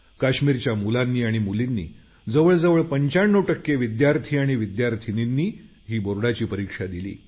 काश्मीरच्या मुलांनी आणि मुलींनी जवळजवळ 95 टक्के विद्यार्थी आणि विद्यार्थिनींनी ही बोर्डाची परीक्षा दिली